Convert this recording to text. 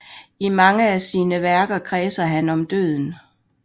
I mange af sine værker kredser han om døden